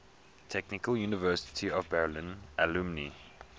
technical university of berlin alumni